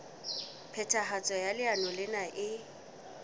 phethahatso ya leano lena e